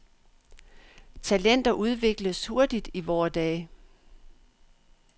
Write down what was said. Talenter udvikles hurtigt i vore dage.